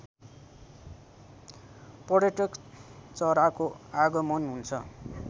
पर्यटक चराको आगमन हुन्छ